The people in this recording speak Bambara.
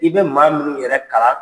I bɛ maa minnu yɛrɛ kala